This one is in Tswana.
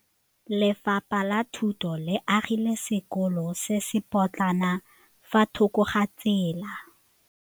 Lefapha la Thuto le agile sekôlô se se pôtlana fa thoko ga tsela.